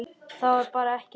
Það var bara ekki hægt.